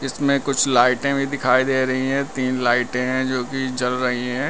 इसमें कुछ लाइटें भी दिखाई दे रही है तीन लाइटें हैं जो की जल रही है।